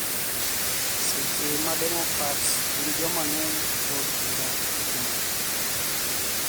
Seche ma Demokrats gin joma ng`eny e od bura juma ni